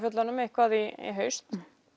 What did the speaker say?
fjöllunum eitthvað í haust